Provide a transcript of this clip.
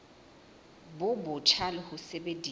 bo botjha le ho sebedisa